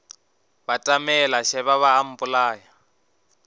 batamela šeba ba a mpolaya